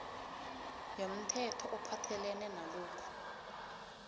yomthetho ophathelene nalokhu